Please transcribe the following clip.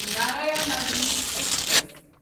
Narayanadri express